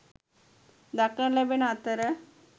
දක්නට ලැබෙන අතර